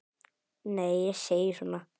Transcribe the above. Nei, ég segi svona.